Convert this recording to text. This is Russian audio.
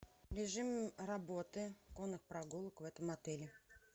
режим работы конных прогулок в этом отеле